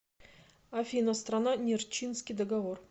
афина страна нерчинский договор